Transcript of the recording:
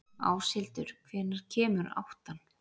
Áshildur, hvenær kemur áttan?